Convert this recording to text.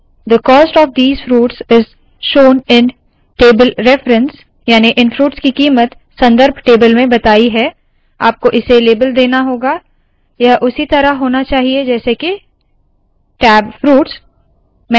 the cost of fruits is shown in table reference याने इन fruits की कीमत संदर्भ टेबल में बताया है आपको इसे लेबल देना होगा यह उसी तरह होना चाहिए जैसे के – टैब फ्रूट्स